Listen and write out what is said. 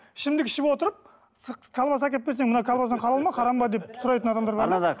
ішімдік ішіп отырып колбаса әкеліп берсең мына колбасаң халал ба харам ба деп сұрайтын адамдар бар да